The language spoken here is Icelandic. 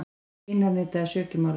Einar neitaði sök í málinu.